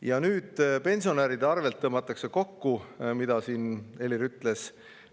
Ja nüüd see, et pensionäride arvelt tõmmatakse kokku, nagu Helir ütles.